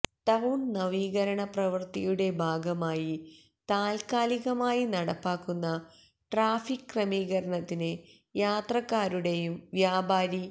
town നവീകരണ പ്രവൃത്തിയുടെ ഭാഗമായി താല്ക്കാലികമായി നടപ്പാക്കുന്ന ട്രാഫിക് ക്രമീകരണത്തിന് യാത്രക്കാരുടെയും വ്യാപാരി